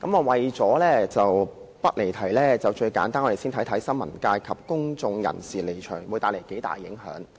為了不離題，最簡單的做法是，我們先看看新聞界及公眾人士離場會帶來多大影響。